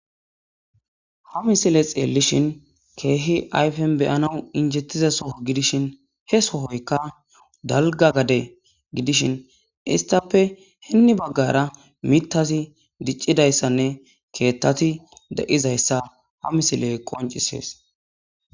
Ha misile xeelishn keeh ayfen xelanawu injetiya Soho gidishn he sohoyka dalga gade gidishn , istappebben bagara mithaz dicidaysanne kethati de'izaysa ha misiley qoncisesi.